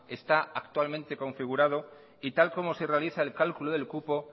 está actualmente configurado y tal y como se realiza el cálculo del cupo